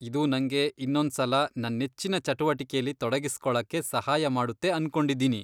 ಇದು ನಂಗೆ ಇನ್ನೊಂದ್ಸಲ ನನ್ ನೆಚ್ಚಿನ ಚಟುವಟಿಕೆಲಿ ತೊಡಗಿಸ್ಕೊಳಕ್ಕೆ ಸಹಾಯ ಮಾಡುತ್ತೆ ಅನ್ಕೊಂಡಿದೀನಿ.